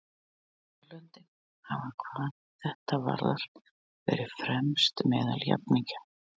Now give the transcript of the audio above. Norðurlöndin hafa hvað þetta varðar verið fremst meðal jafningja.